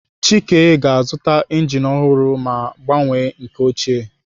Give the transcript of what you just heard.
Chike ga-azụta injin ọhụrụ ma gbanwee nke ochie.